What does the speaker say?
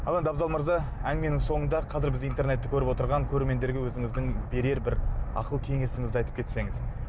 ал енді абзал мырза әңгіменің соңында қазір бізді интернетті көріп отырған көрермендерге өзіңіздің берер бір ақыл кеңесіңізді айтып кетсеңіз